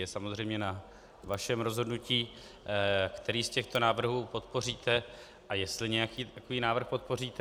Je samozřejmě na vašem rozhodnutí, který z těchto návrhů podpoříte a jestli nějaký takový návrh podpoříte.